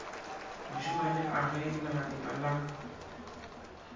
mošemane a ge legadima la